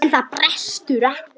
En það brestur ekki.